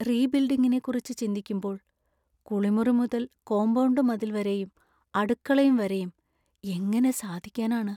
റീബിൽഡിങ്ങിനെക്കിറിച്ച് ചിന്തിക്കുമ്പോൾ, കുളിമുറി മുതൽ കോമ്പൗണ്ട് മതിൽ വരെയും അടുക്കളയും വരെയും, എങ്ങനെ സാധിക്കാനാണ്?